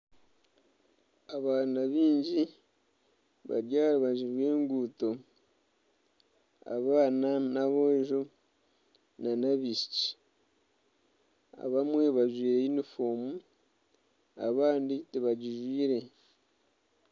Abaana bangi bari aha rubaju rw'enguuto. Abaana n'aboojo n'abaishiki abamwe bajwaire yunifoomu abandi tibagijwaire.